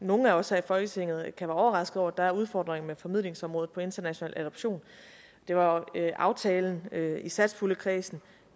at nogen af os her i folketinget kan være overrasket over at der er udfordringer med formidlingsområdet hvad angår international adoption der var jo aftalen i satspuljekredsen